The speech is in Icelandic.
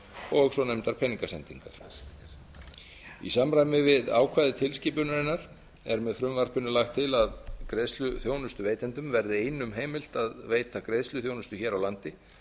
og svonefndar peningasendingar í samræmi við ákvæði tilskipunarinnar er með frumvarpinu lagt til að greiðsluþjónustuveitendum verði einum heimilt að veita greiðsluþjónustu hér á landi